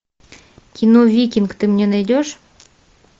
кино викинг ты мне найдешь